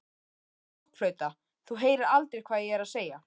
blokkflauta, þú heyrir aldrei hvað ég er að segja.